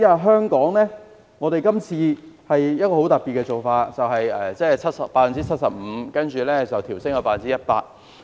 香港這次的做法很特別，寬免百分比由 75% 調升至 100%。